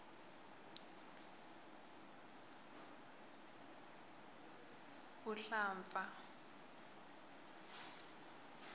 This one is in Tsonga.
vuhlampfa